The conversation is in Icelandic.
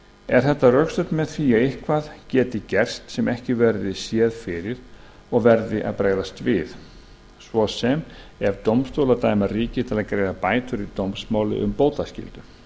er þetta rökstutt með því að eitthvað geti gerst sem ekki verði séð fyrir og verði að bregðast við svo sem ef dómstólar dæma ríki til að greiða bætur í dómsmáli um bótaskyldu